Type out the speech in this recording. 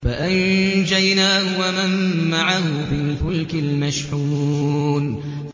فَأَنجَيْنَاهُ وَمَن مَّعَهُ فِي الْفُلْكِ الْمَشْحُونِ